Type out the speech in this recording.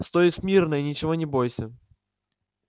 стой смирно и ничего не бойся